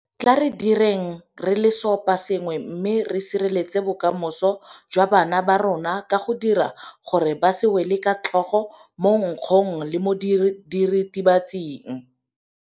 Tla re direng re le seoposengwe mme re sireletse bokamoso jwa bana ba rona ka go dira gore ba se wele ka tlhogo mo nkgong le mo diritibatsing.